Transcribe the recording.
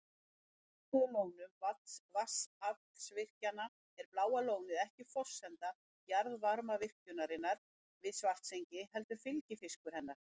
Andstætt uppistöðulónum vatnsaflsvirkjana er Bláa lónið ekki forsenda jarðvarmavirkjunarinnar við Svartsengi heldur fylgifiskur hennar.